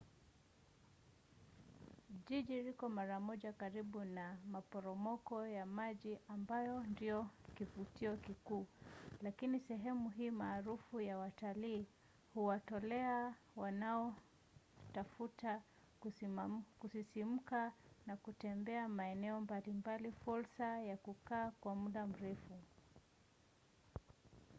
jiji liko mara moja karibu na maporomoko ya maji ambayo ndiyo kivutio kikuu lakini sehemu hii maarufu ya watalii huwatolea wanaotafuta kusisimka na kutembea maeneo mbali mbali fursa ya kukaa kwa muda mrefu